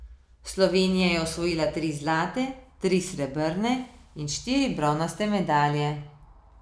Slovenija je osvojila tri zlate, tri srebrne in štiri bronaste medalje.